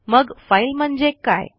मग फाईल म्हणजे काय